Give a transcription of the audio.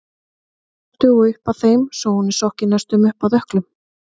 Mörtu og upp að þeim svo hún var sokkin næstum upp að ökklum.